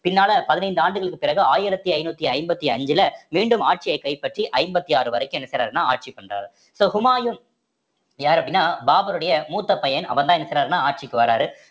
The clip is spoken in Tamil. பின்னால பதினைந்து ஆண்டுகளுக்கு பிறகு ஆயிரத்தி ஐந்நூத்தி ஐம்பத்தி அஞ்சுல மீண்டும் ஆட்சியை கைப்பற்றி ஐம்பத்தி ஆறு வரைக்கும் என்ன செய்யறாருன்னா ஆட்சி பண்றாரு so ஹுமாயூன் யாரு அப்படின்னா பாபருடைய மூத்த பையன் அவர்தான் என்ன செய்யறாருன்னா ஆட்சிக்கு வாராரு